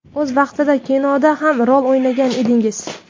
O‘z vaqtida kinoda ham rol o‘ynagan edingiz.